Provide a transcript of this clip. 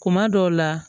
Kuma dɔw la